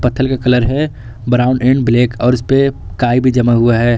थल का colour brown and black है और इसपे काई भी जमे हुए हैं।